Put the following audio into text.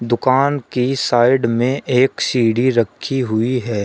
दुकान की साइड में एक सीढ़ी रखी हुई है।